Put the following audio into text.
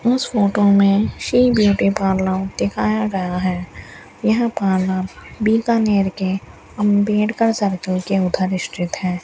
उस फोटो में Shri beauty parlour दिखाया गया है यह पार्लर बीकानेर के अंबेडकर सर्किल के उधर स्थित है।